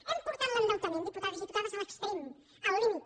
hem portat l’endeutament diputats i diputades a l’extrem al límit